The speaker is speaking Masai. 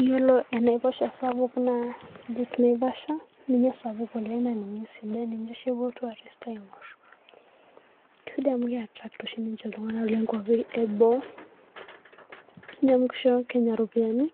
iyiolo enaiposha sapuk oleng naa lake naivasha, ninye esapuk oleng, naaninye oshi epuo il trourist aing'or, kisidai amu ke attract oshi ninye iltunganak loo nkuapi eboo, neeku kisho kenya ropiyiani,